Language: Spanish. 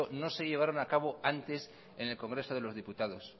no se llevaron a cabo antes en el congreso de los diputados